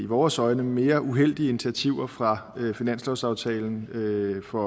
vores øjne mere uheldige initiativer fra finanslovsaftalen for